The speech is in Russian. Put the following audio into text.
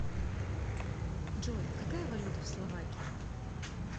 джой какая валюта в словакии